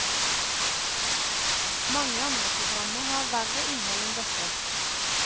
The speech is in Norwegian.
Mange andre programmer har verre innhold enn dette.